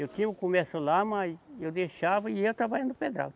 Eu tinha o comércio lá, mas eu deixava e ia trabalhar no pedral.